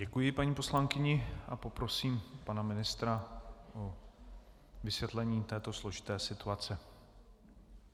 Děkuji paní poslankyni a poprosím pana ministra o vysvětlení této složité situace.